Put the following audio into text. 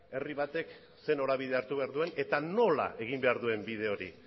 herri batek ze norabide hartu behar duen eta nola egin behar duen bide hori